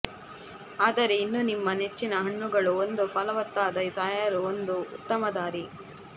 ಆದರೆ ಇನ್ನೂ ನಿಮ್ಮ ನೆಚ್ಚಿನ ಹಣ್ಣುಗಳು ಒಂದು ಫಲವತ್ತಾದ ತಯಾರು ಒಂದು ಉತ್ತಮ ದಾರಿ